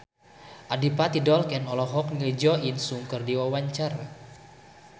Adipati Dolken olohok ningali Jo In Sung keur diwawancara